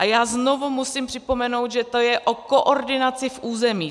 A já znovu musím připomenout, že to je o koordinaci v územích.